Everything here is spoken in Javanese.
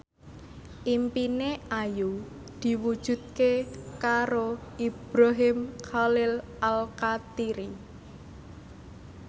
impine Ayu diwujudke karo Ibrahim Khalil Alkatiri